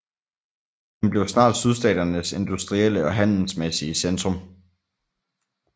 Den blev snart sydstaternes industrielle og handelsmæssige centrum